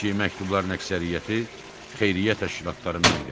Çünki məktubların əksəriyyəti xeyriyyə təşkilatlarından gəlirdi.